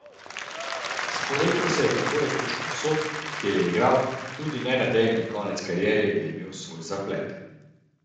Sporekel se je tako rekoč povsod, kjer je igral, tudi nenadejani konec kariere je imel svoj zaplet.